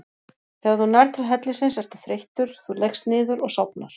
Þegar þú nærð til hellisins ertu þreyttur, þú leggst niður og sofnar.